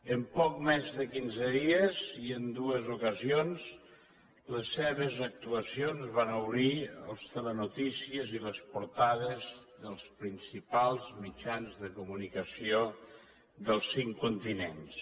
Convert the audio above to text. en poc més de quinze dies i en dues ocasions les seves actuacions van obrir els telenotícies i les portades dels principals mitjans de comunicació dels cinc continents